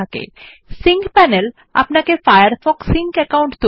the sync panel lets you set up or manage a Firefox sync account